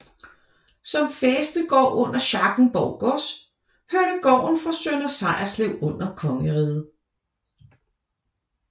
Som fæstegård under Schackenborg gods hørte gården fra Sønder Sejerslev under kongeriget